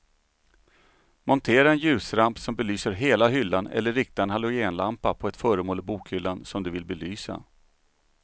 Montera en ljusramp som belyser hela hyllan eller rikta en halogenlampa på ett föremål i bokhyllan som du vill belysa.